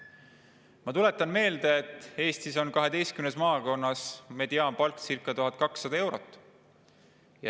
Ma tuletan meelde, et Eestis on 12 maakonnas mediaanpalk circa 1200 eurot.